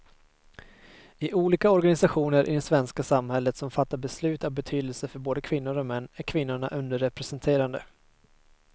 I olika organisationer i det svenska samhället som fattar beslut av betydelse för både kvinnor och män är kvinnorna underrepresenterade.